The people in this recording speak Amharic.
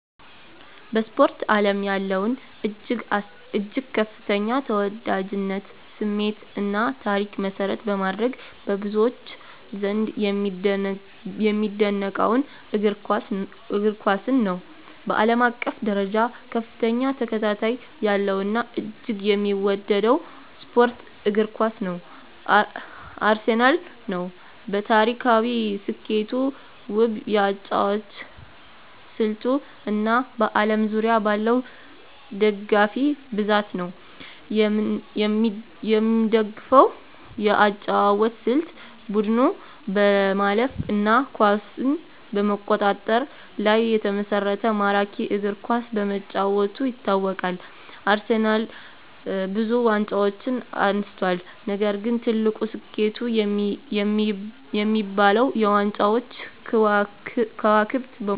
በስፖርት አለም ያለውን እጅግ ከፍተኛ ተወዳጅነት፣ ስሜት እና ታሪክ መሰረት በማድረግ፣ በብዙዎች ዘንድ የሚደነቀውን እግር ኳስን ነው። በአለም አቀፍ ደረጃ ከፍተኛ ተከታታይ ያለው እና እጅግ የሚወደደው ስፖርት እግር ኳስ ነው። አርሴናል ነው። በታሪካዊ ስኬቱ፣ ውብ የአጨዋወት ስልቱ እና በአለም ዙሪያ ባለው ደጋፊ ብዛት ነው። የምደፈው የአጨዋወት ስልት : ቡድኑ በማለፍ እና ኳስን በመቆጣጠር ላይ የተመሰረተ ማራኪ እግር ኳስ በመጫወቱ ይታወቃል። አርሴናልብዙ ዋንጫዎችን አንስቷል፣ ነገር ግን ትልቁ ስኬቱ የሚባለው -የ ዋንጫዎች ክዋክብት በመሆኑ ነዉ።